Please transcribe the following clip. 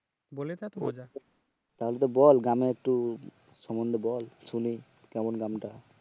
তাহলে তো বল গ্রামের একটু সম্বন্ধে বল শুনি কেমন গ্রামটা